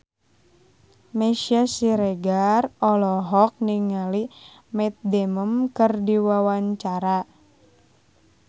Meisya Siregar olohok ningali Matt Damon keur diwawancara